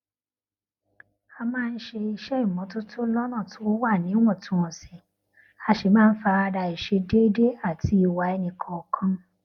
a máa ń ṣe iṣé ìmótótó lónà tó wà níwòntúnwònsì a sì máa n farada àìṣedéédé àti ìwà ẹnìkọọkan